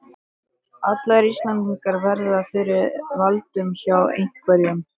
Ætli Ísland verði fyrir valinu hjá einhverjum?